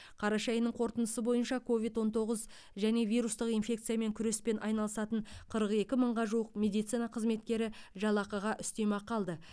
қараша айының қорытындысы бойынша ковид он тоғыз және вирустық инфекциямен күреспен айналысатын қырық екі мыңға жуық медицина қызметкері жалақыға үстемақы алды